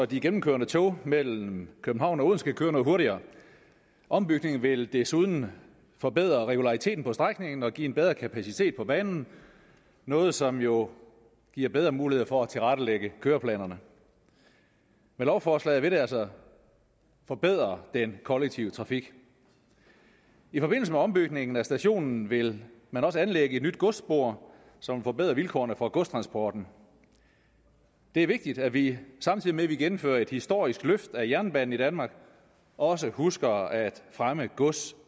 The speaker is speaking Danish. de gennemkørende tog mellem københavn og odense kan køre noget hurtigere ombygningen vil desuden forbedre regulariteten på strækningen og give en bedre kapacitet på banen noget som jo giver bedre muligheder for at tilrettelægge køreplanerne lovforslaget vil altså forbedre den kollektive trafik i forbindelse med ombygningen af stationen vil man også anlægge et nyt godsspor som forbedrer vilkårene for godstransporten det er vigtigt at vi samtidig med at vi gennemfører et historisk løft af jernbanen i danmark også husker at fremme gods